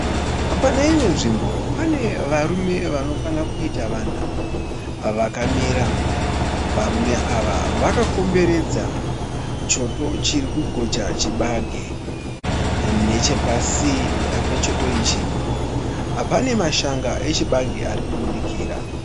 Paneimwe nzvimbo pane varume vanokwana kuita vana, vakamira. Varume ava vakomberedza choto chiri kugocha chibage. Nechepasi pechoto ichi, pane mashanga echibage arikubudikira.